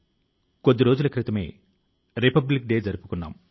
దాంతో పాటే మంచి చేయడానికి మంచిగా మారడానికి స్ఫూర్తి ని ఇస్తోంది